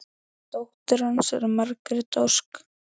Dóttir hans er Margrét Ósk.